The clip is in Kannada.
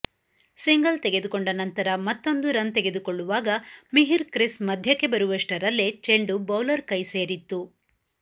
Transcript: ಸಿಂಗಲ್ ತೆಗೆದುಕೊಂಡ ನಂತರ ಮತ್ತೊಂದು ರನ್ ತೆಗೆದುಕೊಳ್ಳುವಾಗ ಮಿಹಿರ್ ಕ್ರಿಸ್ ಮಧ್ಯಕ್ಕೆ ಬರುವಷ್ಟರಲ್ಲೇ ಚೆಂಡು ಬೌಲರ್ ಕೈಸೇರಿತ್ತು